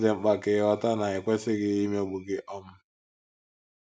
Ọ dị mkpa ka ịghọta na e kwesịghị imegbu gị um.